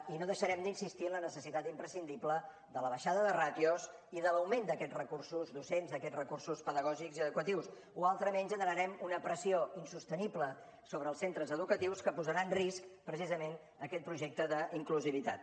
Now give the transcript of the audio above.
i no deixarem d’insistir en la necessitat imprescindible de la baixada de ràtios i de l’augment d’aquests recursos docents d’aquests recursos pedagògics i educatius o altrament generarem una pressió insostenible sobre els centres educatius que posarà en risc precisament aquest projecte d’inclusivitat